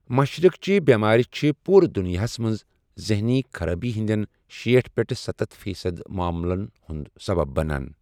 مَشرقٕچہِ بٮ۪مٲرۍ چھِ پوٗرٕ دُنیاہَس منٛز ذہنی خرٲبی ہندین شیٹھ پیٹھ سَتتھ فی صد معملن ہٗند سبب بنان۔